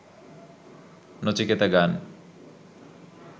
নচিকেতা গান